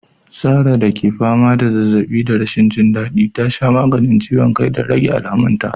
Sarah da ke fama da zazzaɓi da rashin jin daɗi, ta sha maganin ciwon kai don rage alamunta.